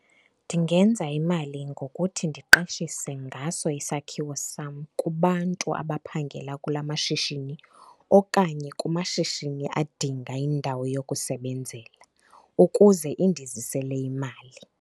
Ndingenza imali ngokuthi ndiqeshise ngaso isakhiwo sam kubantu abaphangela kula mashishini okanye kumashishini adinga indawo yokusebenzela ukuze indizisele imali.